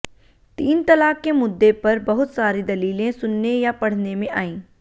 तीन तलाक़ के मुद्दे पर बहुत सारी दलीलें सुनने या पढने में आईं